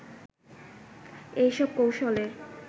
এসব কৌশলের